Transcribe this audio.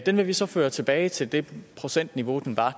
den vil vi så føre tilbage til det procentniveau den var